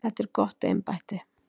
Þetta er gott embætti.